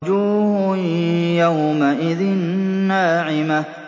وُجُوهٌ يَوْمَئِذٍ نَّاعِمَةٌ